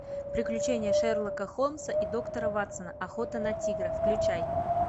приключения шерлока холмса и доктора ватсона охота на тигра включай